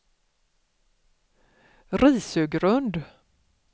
Risögrund